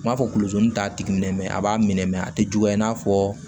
N b'a fɔ t'a tigi minɛ a b'a minɛ mɛ a tɛ juguya i n'a fɔ